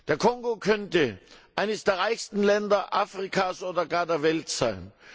Der Kongo könnte eines der reichsten Länder Afrikas oder auch der Welt sein.